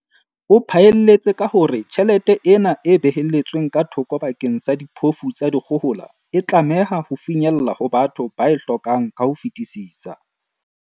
O phaelletse ka hore tjhelete ena e behelletsweng ka thoko bakeng sa diphofu tsa dikgohola e tlameha ho finyella ho batho ba e hlokang ka ho fetisisa.